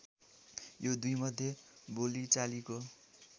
यो दुईमध्ये बोलिचालीको